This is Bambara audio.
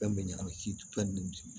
Fɛn bɛ ɲagami fɛn